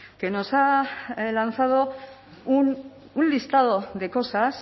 que nos ha lanzado un listado de cosas